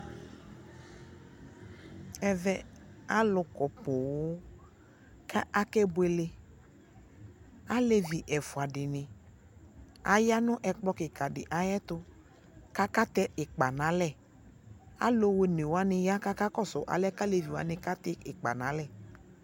ɛvɛ alo kɔ poŋ ko akebuele alevi ɛfua di ni aya no ɛkplɔ kika di ɛto ko akatɛ ikpa no alɛ alo one wani ya ko aka kɔso alɛ ko alevi wani katɛ ikpa no alɛ